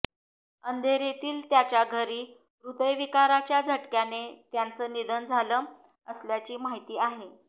अंधेरीतील त्याच्या घरी हृदयविकाराच्या झटक्याने त्याचं निधन झालं असल्याची माहिती आहे